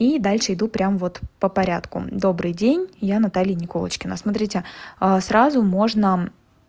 и дальше иду прямо вот по порядку добрый день я наталья николочкина смотрите а сразу можно